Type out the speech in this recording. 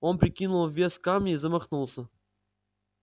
он прикинул вес камня и замахнулся